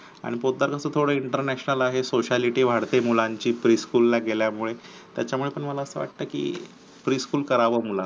आणि पोतदारांच थोडं international आहे sociality वाढते मुलांची school ला गेल्यामुळे त्याच्यामुळे ही मला अस वाटतं की pre school कराव मुलांचं